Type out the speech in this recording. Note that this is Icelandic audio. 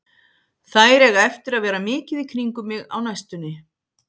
Þær eiga eftir að vera mikið í kringum mig á næstunni.